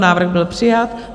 Návrh byl přijat.